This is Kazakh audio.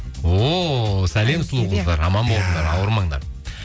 о сәлем сұлу қыздар аман болыңдар ауырмаңдар